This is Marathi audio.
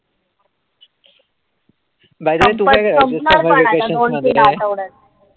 By the way तू काय करायचीस summer vacation वगैरे?